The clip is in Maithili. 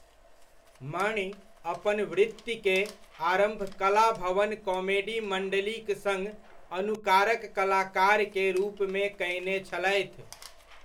मणि अपन वृत्ति के आरम्भ कलाभवन कॉमेडी मंडलीक सङ्ग अनुकारक कलाकार के रूपमे कयने छलथि।